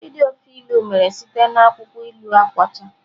Id ofe ilu mere site na akwụkwọ ilu akwọcha.